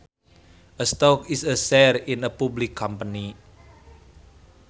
A stock is a share in a public company